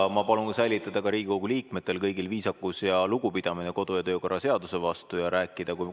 Aga ma palun säilitada ka Riigikogu liikmetel kõigil viisakus ja lugupidamine kodu- ja töökorra seaduse vastu ning rääkida nii.